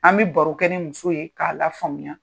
An bɛ baro kɛ ni muso ye k'a la faamuya.